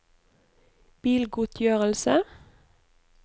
bilgodtgjørelse